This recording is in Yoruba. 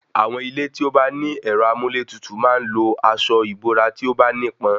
Àwọn ilé tí ó bá ní ẹ̀rọ amúlétutù máa ń lo asọ ìbora tí o bá nípọn